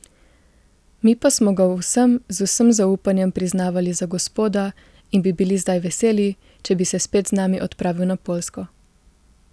Mi pa smo ga v vsem z vsem zaupanjem priznavali za gospoda in bi bili zdaj veseli, če bi se spet z nami odpravil na Poljsko.